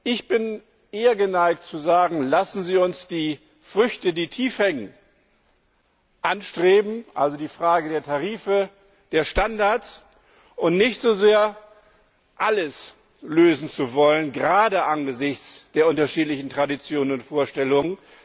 Ich bin eher geneigt zu sagen Lassen Sie uns die Früchte, die tief hängen, anstreben also die Frage der Tarife und Standards und nicht so sehr alles lösen wollen, gerade angesichts der unterschiedlichen Traditionen und Vorstellungen.